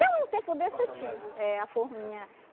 Tem um tempo desse eu tinha eh a forminha.